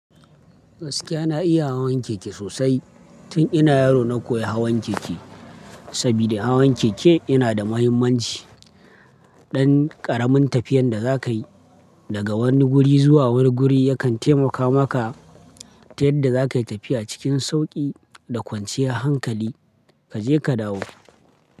Gaskiya na iya hawan keke sosai. Tun ina yaro na koyi hawan keke, saboda hawan keke yana da mahimmanci. Dan ƙaramin tafiyan da za ka yi daga wani guri zuwa wani guri, yakan taimaka maka ta yadda za ka yi tafiya cikin sauƙi da kwanciyar hankali, ka je ka dawo.